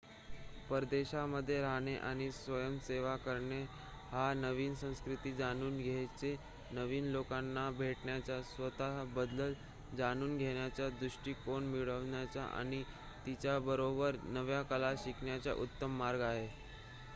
परदेशामध्ये राहणे आणि स्वयंसेवा करणे हा नवीन संस्कृती जाणून घेण्याचा नवीन लोकांना भेटण्याचा स्वत:बद्दल जाणून घेण्याचा दृष्टिकोन मिळवण्याचा आणि त्याचबरोबर नव्या कला शिकण्याचा उत्तम मार्ग आहे